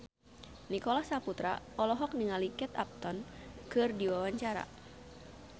Nicholas Saputra olohok ningali Kate Upton keur diwawancara